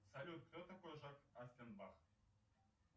салют кто такой жак оффенбах